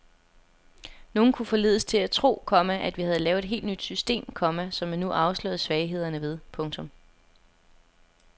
Nogle kunne forledes til at tro, komma at vi havde lavet et helt nyt system, komma som man nu afslørede svaghederne ved. punktum